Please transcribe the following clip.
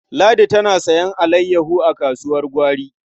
Ladi tana sayen alayyaho a kasuwar gwari.